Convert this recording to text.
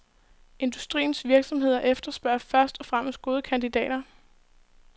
Industriens virksomheder efterspørger først og fremmest gode kandidater.